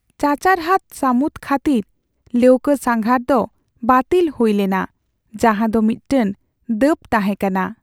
ᱪᱟᱪᱟᱨᱦᱟᱫᱽ ᱥᱟᱹᱢᱩᱫ ᱠᱷᱟᱹᱛᱤᱨ ᱞᱟᱹᱣᱠᱟᱹ ᱥᱟᱸᱜᱷᱟᱨ ᱫᱚ ᱵᱟᱹᱛᱤᱞ ᱦᱩᱭ ᱞᱮᱱᱟ, ᱡᱟᱦᱟᱸ ᱫᱚ ᱢᱤᱫᱴᱟᱝ ᱫᱟᱹᱵᱽ ᱛᱟᱦᱮᱸ ᱠᱟᱱᱟ ᱾